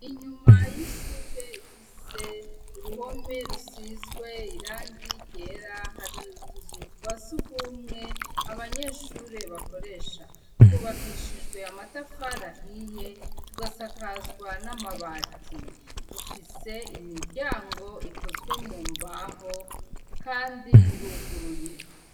Inyuma y'ishure ifise uruhome rusizwe irangi ryera hari utuzu twasugumwe abanyeshure bakoresha twubakishijwe amatafari ahiye tugasakazwa n'amabati dufise imiryango ikozwe mu mbaho, kandi iruguruye.